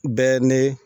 Bɛɛ ni